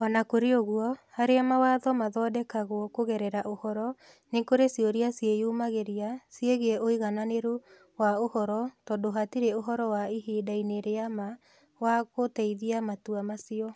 O na kũrĩ ũguo, harĩa mawatho mathondekagwo kũgerera ũhoro, nĩ kũrĩ ciũria ciĩyumĩragia ciĩgiĩ ũigananĩru wa ũhoro tondũ hatirĩ ũhoro wa ihinda-inĩ rĩa ma wa gũteithia matua macio.